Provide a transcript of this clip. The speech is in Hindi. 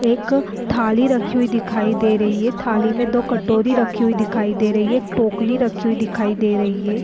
एक थाली रखी हुई दिखाई दे रही हैं थाली में दो कटोरी रखी हुई दिखाई दे रही है एक टोकरी रखी हुई दिखाई दे रही है।